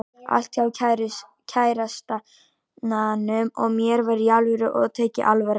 Allt hjá kærastanum og mér var Í ALVÖRU og tekið alvarlega.